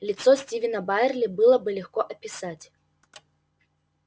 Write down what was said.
лицо стивена байерли было бы легко описать